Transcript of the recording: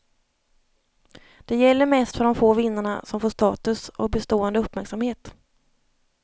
Det gäller mest för de få vinnarna som får status och bestående uppmärksamhet.